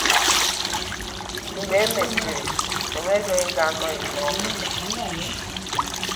Mgbe e mesịrị, ọ nweghị onye ga-anọghị n’ọrụ.